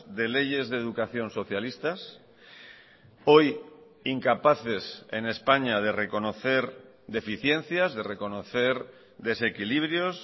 de leyes de educación socialistas hoy incapaces en españa de reconocer deficiencias de reconocer desequilibrios